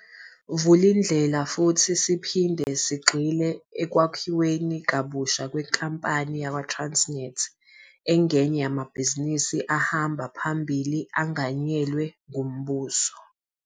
Vulindlela futhi siphinde sagxila ekwakhiweni kabusha kwenkampani yakwaTransnet, engenye yamabhizinisi ahamba phambili anganyelwe ngumbuso.